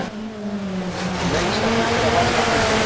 Sneisafullir af vanmáttarkennd.